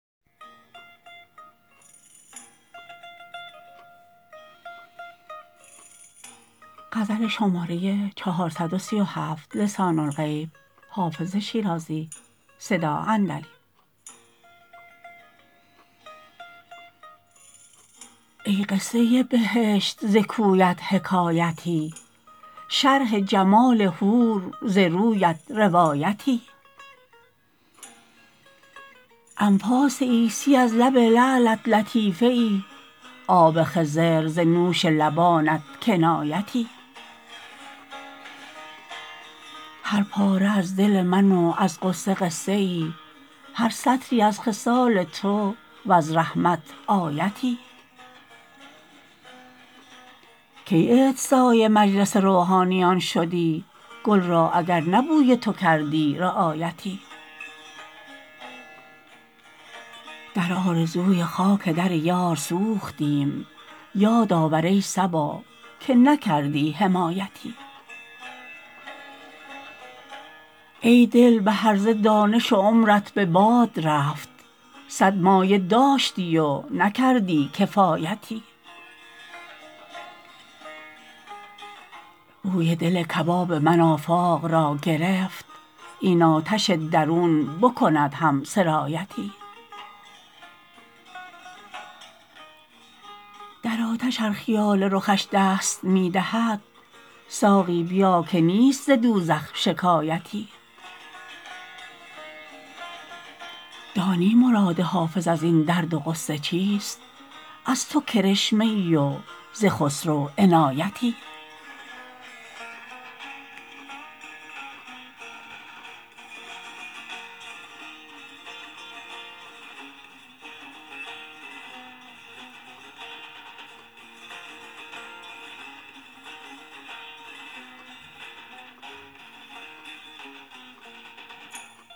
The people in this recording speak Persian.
ای قصه بهشت ز کویت حکایتی شرح جمال حور ز رویت روایتی انفاس عیسی از لب لعلت لطیفه ای آب خضر ز نوش لبانت کنایتی هر پاره از دل من و از غصه قصه ای هر سطری از خصال تو و از رحمت آیتی کی عطرسای مجلس روحانیان شدی گل را اگر نه بوی تو کردی رعایتی در آرزوی خاک در یار سوختیم یاد آور ای صبا که نکردی حمایتی ای دل به هرزه دانش و عمرت به باد رفت صد مایه داشتی و نکردی کفایتی بوی دل کباب من آفاق را گرفت این آتش درون بکند هم سرایتی در آتش ار خیال رخش دست می دهد ساقی بیا که نیست ز دوزخ شکایتی دانی مراد حافظ از این درد و غصه چیست از تو کرشمه ای و ز خسرو عنایتی